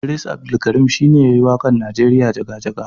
Idris Abdulkarin shine yayi waƙar Nigeria Jaga-jaga.